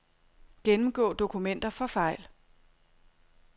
Gennemgå dokumenter for fejl.